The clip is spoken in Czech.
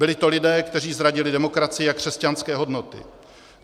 Byli to lidé, kteří zradili demokracii a křesťanské hodnoty.